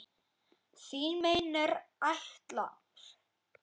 Þú meinar ætlar.